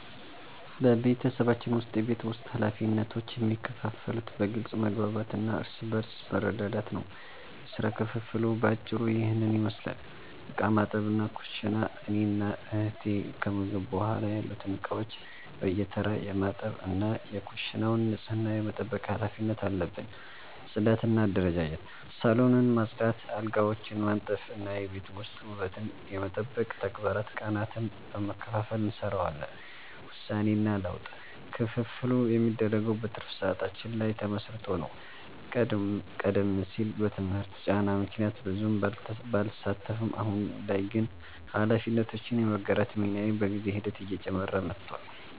በቤተሰባችን ውስጥ የቤት ውስጥ ኃላፊነቶች የሚከፋፈሉት በግልጽ መግባባት እና እርስ በርስ በመረዳዳት ነው። የሥራ ክፍፍሉ በአጭሩ ይህንን ይመስላል፦ ዕቃ ማጠብና ኩሽና፦ እኔና እህቴ ከምግብ በኋላ ያሉትን ዕቃዎች በየተራ የማጠብ እና የኩሽናውን ንጽህና የመጠበቅ ኃላፊነት አለብን። ጽዳትና አደረጃጀት፦ ሳሎንን ማጽዳት፣ አልጋዎችን ማንጠፍ እና የቤት ውስጥ ውበትን የመጠበቅ ተግባራትን ቀናትን በመከፋፈል እንሰራዋለን። ውሳኔና ለውጥ፦ ክፍፍሉ የሚደረገው በትርፍ ሰዓታችን ላይ ተመስርቶ ነው። ቀደም ሲል በትምህርት ጫና ምክንያት ብዙም ባልሳተፍም፣ አሁን ላይ ግን ኃላፊነቶችን የመጋራት ሚናዬ በጊዜ ሂደት እየጨመረ መጥቷል።